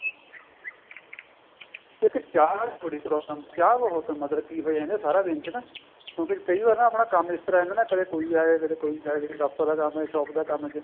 ਕਿਉਂਕਿ ਚਾਹ ਬੜੀ problem ਚਾਹ ਬਹੁਤ ਮਤਲਬ ਪੀ ਹੋ ਜਾਂਦੀ ਸਾਰਾ ਦਿਨ ਚ ਨਾ ਕਿਉਂਕਿ ਕਈ ਵਾਰ ਨਾ ਆਪਣਾ ਕੰਮ ਇਸ ਤਰ੍ਹਾਂ ਦਾ ਨਾ ਕਦੇ ਕੋਈ ਆ ਗਿਆ ਕਦੇ ਕੋਈ ਆ ਗਿਆ ਕਦੇ ਪਾਪਾ ਦਾ ਕੰਮ ਏ shop ਦਾ ਕੰਮ ਏ